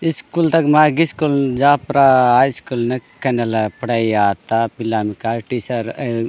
इस्कूल तक माई गिसकुल जा प्रा आइ स्कुल नेक नेला पढ़ाई याता पिलांका टीचर य --